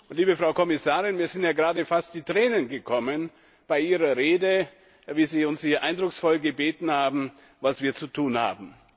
Liebe Frau Kommissarin, mir sind ja gerade fast die Tränen gekommen bei Ihrer Rede, wie Sie uns eindrucksvoll gebeten haben, was wir zu tun haben.